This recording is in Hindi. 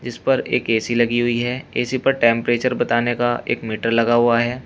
इस पर एक ए_सी लगी हुई है ए_सी पर टेंपरेचर बताने का एक मीटर लगा हुआ है।